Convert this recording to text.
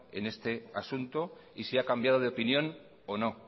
en este asunto y si ha cambiado de opinión o no